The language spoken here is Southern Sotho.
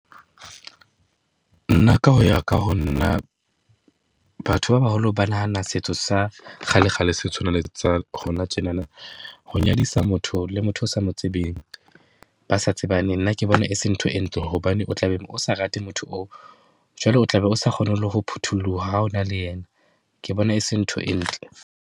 Nna ka ho ya ka ho nna, batho ba baholo ba nahana setso sa kgalekgale se tshwana le sa hona tjenana. Ho nyadisa motho le motho o sa mo tsebeng, ba sa tsebaneng. Nna ke bona e se ntho e ntle hobane o tla be o sa rate motho oo, jwale o tla be o sa kgone le ho phuthulloha ha ona le yena. Ke bona e se ntho e ntle.